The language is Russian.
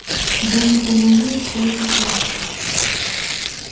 да и не по моей всё это части